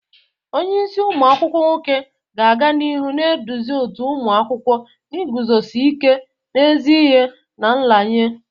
Onye isi umu akwukwo nwoke ga-aga n'ihu na-eduzi òtù ụmụ akwụkwọ n'iguzosi ike n'ezi ihe na nraranye.